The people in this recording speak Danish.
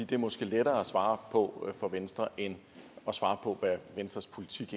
det er måske lettere at svare på for venstre end at svare på hvad venstres politik